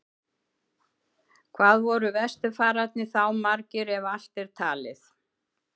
Hvað voru vesturfararnir þá margir, ef allt er talið?